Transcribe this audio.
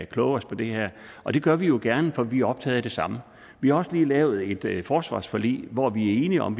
kloge os på det her og det gør vi jo gerne for vi er optaget af det samme vi har også lige lavet et forsvarsforlig hvor vi er enige om